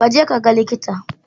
Kaje ka ga likita.